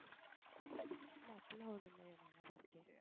அப்படிலாம் ஒண்ணும் இல்லையே நல்லாதான் இருக்கேள்